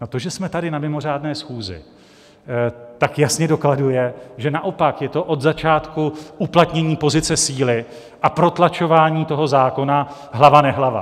A to, že jsme tady na mimořádné schůzi, tak jasně dokladuje, že naopak je to od začátku uplatnění pozice síly a protlačování toho zákona hlava nehlava.